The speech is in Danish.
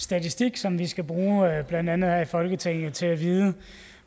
statistik som vi skal bruge blandt andet her i folketinget til at vide